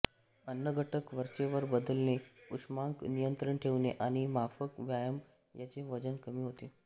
अन्नघटक वरचेवर बदलणे उष्मांक नियंत्रित ठेवणे आणि माफक व्यायाम याने वजन कमी होते